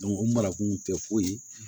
o marakun tɛ foyi ye